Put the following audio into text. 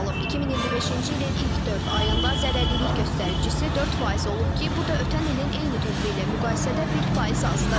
2025-ci ilin ilk dörd ayında zərərlilik göstəricisi 4% olub ki, bu da ötən ilin eyni dövrü ilə müqayisədə 1% azdır.